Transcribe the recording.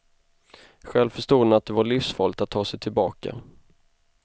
Själv förstod han att det var livsfarligt att ta sig tillbaka.